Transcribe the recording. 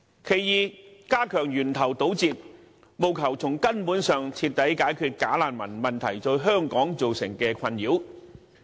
第二，加強源頭堵截，務求從根本上徹底解決"假難民"問題對香港造成的困擾。